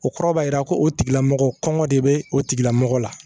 O kɔrɔ b'a jira ko o tigilamɔgɔ kɔngɔ de bɛ o tigilamɔgɔ la